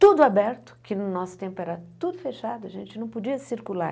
tudo aberto, que no nosso tempo era tudo fechado, a gente não podia circular.